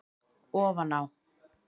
ofan á það.